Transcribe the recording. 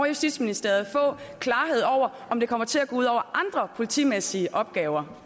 justitsministeriet få klarhed over om det kommer til at gå ud over andre politimæssige opgaver